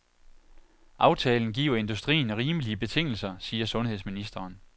Aftalen giver industrien rimelige betingelser, siger sundhedsministeren.